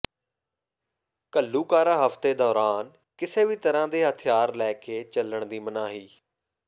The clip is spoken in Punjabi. ਘੱਲੂਘਾਰਾ ਹਫ਼ਤੇ ਦੌਰਾਨ ਕਿਸੇ ਵੀ ਤਰ੍ਹਾਂ ਦੇ ਹਥਿਆਰ ਲੈ ਕੇ ਚੱਲਣ ਦੀ ਮਨਾਹੀ